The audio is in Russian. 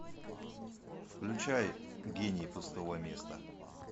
включай гений пустого места